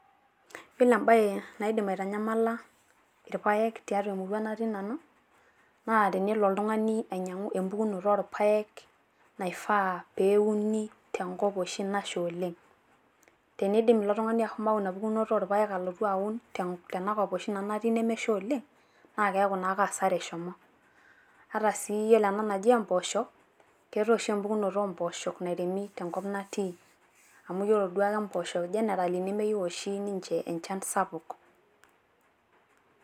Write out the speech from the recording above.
Yiolo embae naidim aitanyamala irpaek tiatua emurua natii nanu. Naa tenelo oltung`ani ainyiang`u enmpukunoto oo irpaek naifaa pee euni tenkop oshi nasha oleng. Teneidim ilo tung`ani ashomo ayau ina pukunoto oo irpaek alotu aun tena kop oshi natii nanu nemesha oleng, naa keeku naake hasara eshomo. Ata sii yiolo ena naji mpoosho keetae oshi empukunoto oo mpoosho nairemi tenkop natii, amu yiolo duake mpoosho generally nemeyieu oshi ninche enchan sapuk